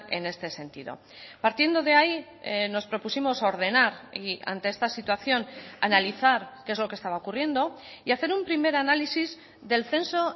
en este sentido partiendo de ahí nos propusimos ordenar y ante esta situación analizar qué es lo que estaba ocurriendo y hacer un primer análisis del censo